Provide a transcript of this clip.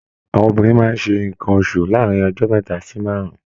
Àwọn obìnrin máa ṣe nnkan oṣù láàrin ọjọ mẹta sí márùn.